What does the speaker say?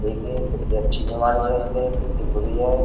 देखिए कितनी अच्छी बीमारी है इसे कितनी बुरी है।